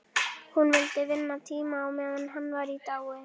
Hún vildi vinna tíma á meðan hann var í dái.